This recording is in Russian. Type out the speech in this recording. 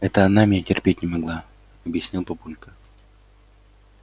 это она меня терпеть не могла объяснил папулька